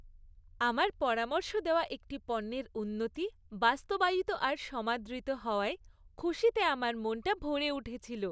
আমার পরামর্শ দেওয়া একটি পণ্যের উন্নতি বাস্তবায়িত আর সমাদৃত হওয়ায় খুশিতে আমার মনটা ভরে উঠেছিল।